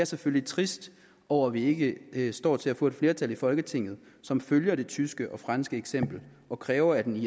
selvfølgelig trist over at vi ikke ikke står til at få et flertal i folketinget som følger det tyske og franske eksempel og kræver at en